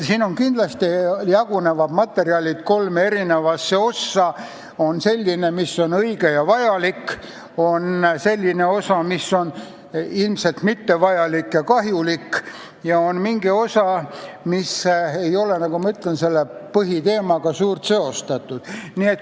Kindlasti jagunevad need materjalid kolme ossa: selline osa, mis on õige ja vajalik, selline osa, mis on ilmselt mittevajalik ja kahjulik, ja on mingi osa, mis ei ole, nagu ma ütlen, põhiteemaga suurt seostatud.